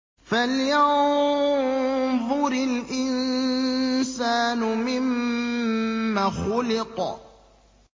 فَلْيَنظُرِ الْإِنسَانُ مِمَّ خُلِقَ